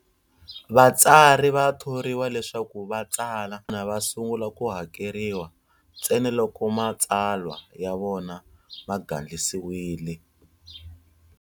Vatsari va thoriwa leswaku vatsala va sungula ku hakeriwa ntsena loko matsalwa ya vona ma gandlisiwile.